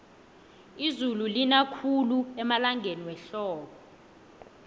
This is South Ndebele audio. izulu lina khulu emalangeni wehlobo